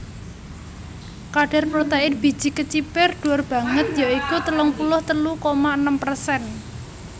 Kadar protèin biji kecipir dhuwur banget ya iku telung puluh telu koma enem persen